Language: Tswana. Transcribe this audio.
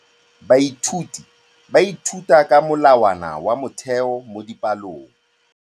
Baithuti ba ithuta ka molawana wa motheo mo dipalong.